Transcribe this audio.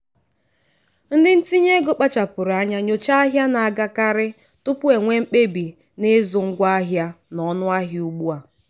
ndị ntinye ego kpachapụrụ anya nyochaa ahịa na-agakarị tupu e nwee mkpebi n'ịzụ ngwaahịa n'ọnụahịa ugbu a.